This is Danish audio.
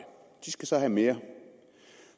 de skal så have mere